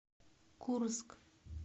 курск